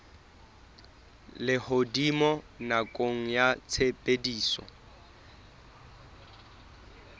a lehodimo nakong ya tshebediso